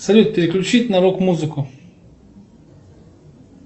салют переключить на рок музыку